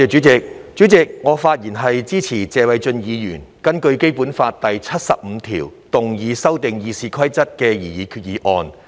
主席，我發言支持謝偉俊議員根據《基本法》第七十五條動議修訂《議事規則》的擬議決議案。